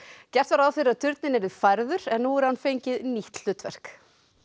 gert var ráð fyrir að turninn yrði færður en nú hefur hann fengið nýtt hlutverk